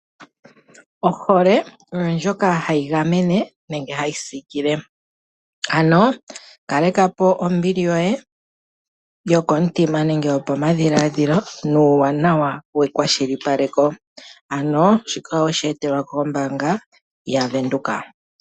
Ohole oyo ndjoka hayi oyo ndjoka hayi gamene nenge hayi siikile ,ano kalekapo ombili yoye koyomwenyo nenge yokopadhiladhilo nuuwanawa wekwashilipaleko ano shika oweshi etelwa kombaanga yaVenduka.